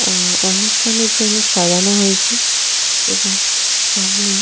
অ্যা অনুষ্ঠানের জন্য সাজানো হয়েছে এবং সামনেই --